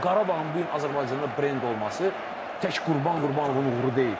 Məsəl üçün, Qarabağın bu gün Azərbaycanda brend olması tək Qurban Qurbanovun uğuru deyil.